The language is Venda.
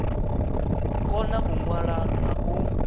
kona u ṅwala na u